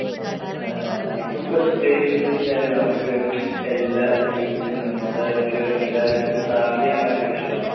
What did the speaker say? ആ ആ ഇപ്പോൾ പ്രത്യേകിച്ച് എന്താന്ന് വെച്ചാല് നമുക്ക് എല്ലാ youth നും നമ്മുടെ ഒരു ഇതിലെ എല്ലാവർക്കും travel ചെയ്യാൻ ഭയങ്കര ഇഷ്ടമാണ്